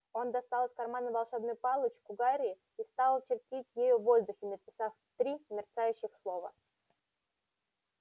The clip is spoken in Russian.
он достал из кармана волшебную палочку гарри и стал чертить ею в воздухе написав три мерцающих слова